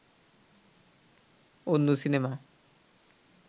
অন্য সিনেমা